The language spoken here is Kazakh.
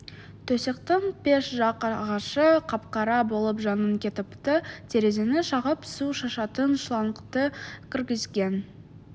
төсектің пеш жақ ағашы қап қара болып жанып кетіпті терезені шағып су шашатын шлангты кіргізген